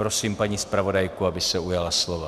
Prosím paní zpravodajku, aby se ujala slova.